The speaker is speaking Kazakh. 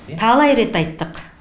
талай рет айттық